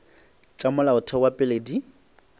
tša molaotheo wa pele di